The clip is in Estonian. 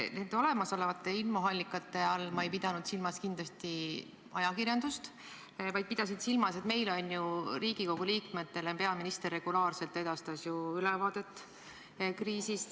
Nende olemasolevate infoallikate all ei pidanud ma silmas kindlasti ajakirjandust, vaid pidasin silmas, et Riigikogu liikmetele peaminister regulaarselt edastas ju ülevaadet kriisist.